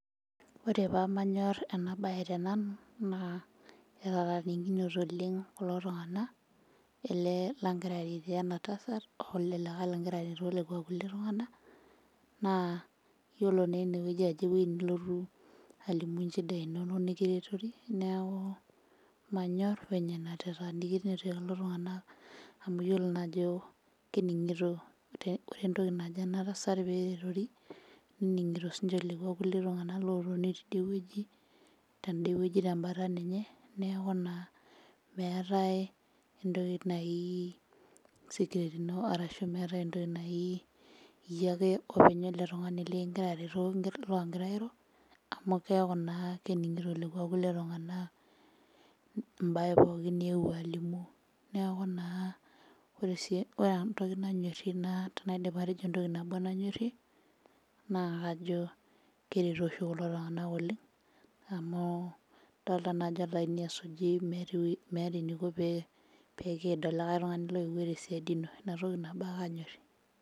Ore pamanyorr ena baye tenanu naa etatanikinote oleng kulo tung'ana ele langira aretoo ena tasat oele likae longira aretoo lekua kulie tung'ana naa yiolo naa enewueji ajo ewueji nilotu alimu inchidai inonok nikiretori neku manyorr venye enatetanikinote kulo tung'anak amu yiolo naa ajo kening'ito ore entoki najo ena tasat peretori nening'ito sinche lekua kulie tung'anak lotoni tidie wueji tende wueji tembata ninye neeku naa meetae entoki nai security ino arashu meetae entoki naji iyiake openy wele tung'ani likingira aretoo longira airo amu keek naa kening'ito lekua kulie tung'anak embaye pookin niyewuo alimu neeku naa ore sii ore entoki nanyorrie naa tenaidip atejoo entoki nabo nanyorrie naa kajo kereto oshi kulo tung'nak oleng amu dolta naa ajo olaini esuji meeta ewue eniko pee pikiid olikae tung'ani loyewuo tesiadi ino inatoki nabo ake anyorrie.